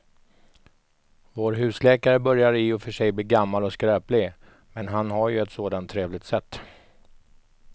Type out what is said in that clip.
Vår husläkare börjar i och för sig bli gammal och skröplig, men han har ju ett sådant trevligt sätt!